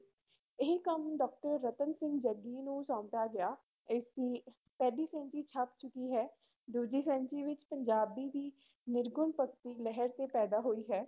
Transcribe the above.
ਇਹ ਕੰਮ doctor ਰਤਨ ਸਿੰਘ ਜੱਗੀ ਨੂੰ ਸੌਂਪਿਆ ਗਿਆ, ਇਸ ਦੀ ਪਹਿਲੀ ਸੈਂਚੀ ਛਪ ਚੁੱਕੀ ਹੈ, ਦੂਜੀ ਸੈਂਚੀ ਵਿੱਚ ਪੰਜਾਬੀ ਦੀ ਨਿਰਗੁਣ ਭਗਤੀ ਲਹਿਰ ਤੇ ਪੈਂਦਾ ਹੋਈ ਹੈ।